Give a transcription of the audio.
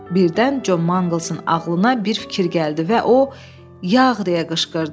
Birdən John Manglesın ağlına bir fikir gəldi və o yağ deyə qışqırdı.